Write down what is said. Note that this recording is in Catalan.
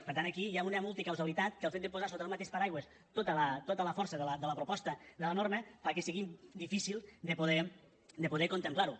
per tant aquí hi ha una multicausalitat que el fet de posar sota un mateix paraigua tota la força de la proposta de la norma fa que sigui difícil de poder contemplar ho